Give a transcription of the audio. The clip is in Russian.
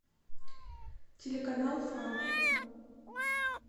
телеканал фан